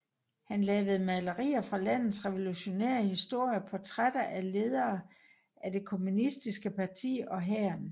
Han lavede malerier fra landets revolutionære historie og portrætter af ledere af det kommunistiske parti og hæren